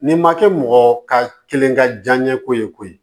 N'i ma kɛ mɔgɔ ka kelen ka diyaɲɛ ko ye koyi